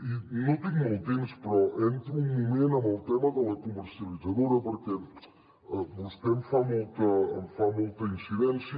i no tinc molt temps però entro un moment en el tema de la comercialitzadora perquè vostè hi fa molta incidència